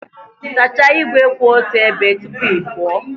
Sachaa igwe kwụ otu ebe tupu ị pụọ